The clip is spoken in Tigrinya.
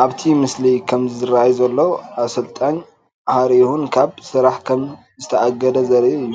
ኣብቲ ምስሊ ከም ዝራኣይ ዘሎ ኣሰልጣኝ ዘሪሁን ካብ ስራሕ ከም ዝተኣገደ ዘርኢ እዩ።